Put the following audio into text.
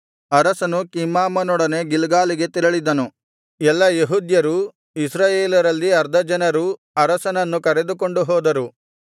ಅರಸನು ಕಿಮ್ಹಾಮನೊಡನೆ ಗಿಲ್ಗಾಲಿಗೆ ತೆರಳಿದನು ಎಲ್ಲಾ ಯೆಹೂದ್ಯರೂ ಇಸ್ರಾಯೇಲರಲ್ಲಿ ಅರ್ಧ ಜನರೂ ಅರಸನನ್ನು ಕರೆದುಕೊಂಡು ಹೋದರು